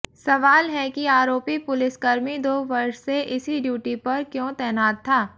सवाल है कि आरोपी पुलिसकर्मी दो वर्ष से इसी ड्यूटी पर क्यों तैनात था